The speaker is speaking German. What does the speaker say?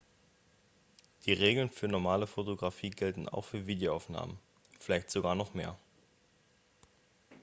die regeln für normale fotografie gelten auch für videoaufnahmen vielleicht sogar noch mehr